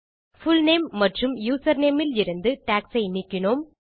full name மற்றும் username இலிருந்து tags ஐ நீக்கினோம்